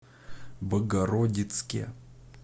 богородицке